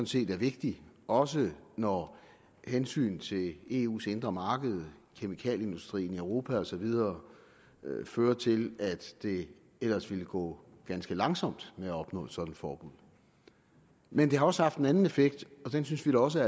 set er vigtigt også når hensynet til eu’s indre marked kemikalieindustrien i europa og så videre fører til at det ellers ville gå ganske langsomt med at opnå et sådant forbud men det har også en anden effekt og den synes vi da også